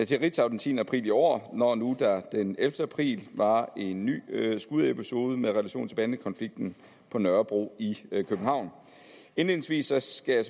til ritzau den tiende april i år når nu der den ellevte april var en ny skudepisode med relation til bandekonflikten på nørrebro i københavn indledningsvis skal jeg